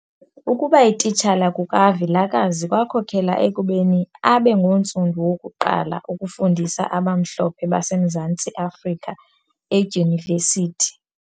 Ukubayititshala kukaVilakazi kwakhokela ekubeni abe ngontsundu wokuqala ukufundisa abamhlophe baseMzantsi Afrika edyunivesithi.